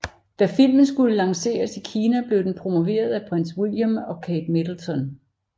Da filmen skulle lanceres i Kina blev den promoveret af Prins William og Kate Middleton